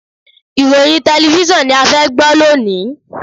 Ìròyìn tẹlẹfísọ̀n ni a fẹ́ gbọ́ lónìí.